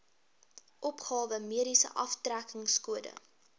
opgawe mediese aftrekkingskode